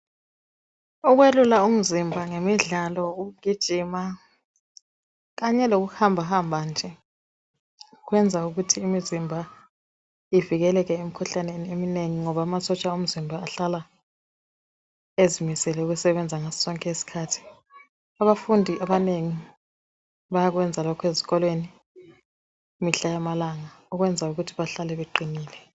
Ukwelula umzimba ngemidlalo, ukugijima kanye lokuhambahamba nje kwenza ukuthi imizimba ivikeleke emikhuhlaneni eminengi ngoba amasotsha omzimba ahlala ezimisele ukusebenza ngaso sonke isikhathi. Abafundi abanengi bayakwenza lokho esikolweni mihla yamalanga ukwenza ukuthi bahlale beqinile.